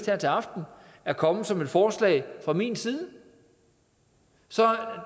her til aften er kommet som et forslag fra min side så